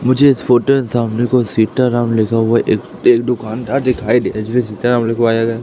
मुझे इस फोटो सामने को सीताराम लिखा हुआ एक एक दुकानदार दिखाई दे रहा जिस पे सीताराम लिखवाया गया--